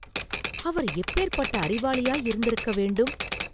அவர் எப்பேர்ப்பட்ட அறிவாளியாயிருந்திருக்க வேண்டும்?